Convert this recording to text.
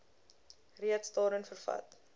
reeds daarin vervat